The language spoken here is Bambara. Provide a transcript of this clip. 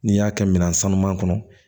N'i y'a kɛ minan sanuman kɔnɔ